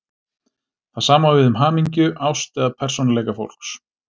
Það sama á við um hamingju, ást eða persónuleika fólks.